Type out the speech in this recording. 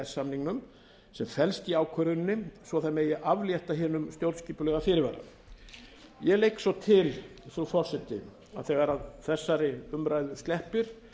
samningnum sem felst í ályktuninni svo aflétta megi hinum stjórnskipulega fyrirvara ég legg svo til frú forseti að þegar þessari umræðu sleppir